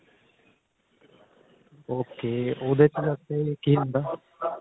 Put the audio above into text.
ok ਉਹਦੇ ਚ ਜਾਕੇ ਕਿ ਹੁੰਦਾ